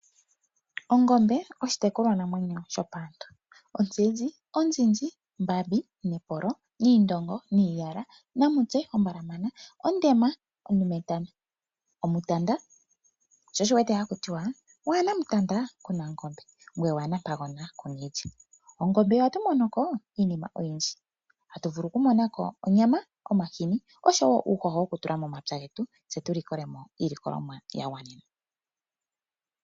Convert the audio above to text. Ongombe oshitekulwa namwenyo shopaantu mbambi, niindongo, niiyala, namutse ombalamana, ondema, ondumetana, omutanda sho osho wuwete hakutiwa waana mutanda kuna ongombe ngoye waana ompagona kuna iilya. Kongombe ohatu monoko iinima oyindji ngaashi onyama, omahini oshowo uuhoho wokutula momapya getu tse tulikolemo iilikolomwa yagwana.